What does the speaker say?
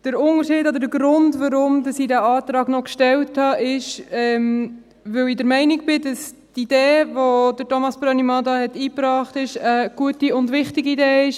Der Unterschied oder der Grund, weshalb ich diesen Antrag noch gestellt habe, ist, weil ich der Meinung bin, dass die Idee, welche Thomas Brönnimann hier eingebracht hat, eine gute und wichtige Idee ist.